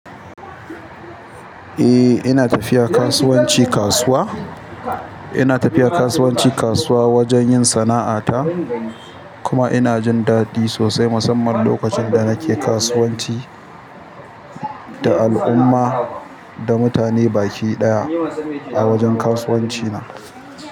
Eh ina tafiya kasuwanci kasuwa. Ina tafiya kasuwanci kasuwa wajen yin sana'a ta. Kuma ina jin daɗi sosai musamman lokacin da nake kasuwanci da al'umma da mutane baki ɗaya a wajen kasuwanci na.